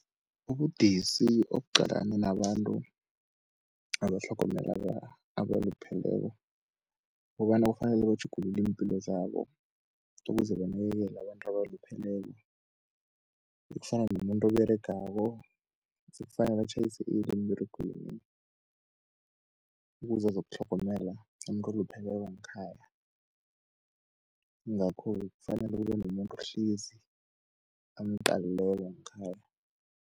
Ubudisi obuqalane nabantu abatlhogomela abalupheleko, kukobana kufanele batjhugulule iimpilo zabo ukuze banakekele abantu abalupheleko ekufana nomuntu oberegako, sekufanele atjhayise early emberegweni ukuze azokutlhogomela umuntu olupheleko ngekhaya. Yingakho-ke kufanele kube nomuntu ohlezi amqalileko ngekhaya.